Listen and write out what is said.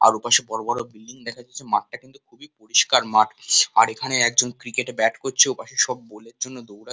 আর ওপাশে বড়ো বড়ো বিল্ডিং দেখা যাচ্ছে মাঠটা কিন্তু খুবই পরিষ্কার মাঠ আর একজন ক্রিকেট ব্যাট করছে ওখানে সব বল এর জন্য দৌড়া --